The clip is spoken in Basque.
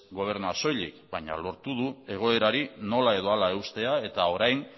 gobernuak soilik baina lortu du egoerari nola edo hala eustea eta orain